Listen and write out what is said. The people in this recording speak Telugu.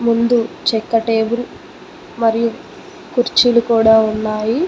ముందు చెక్క టేబుల్ మరియు కుర్చీలు కూడా ఉన్నాయి.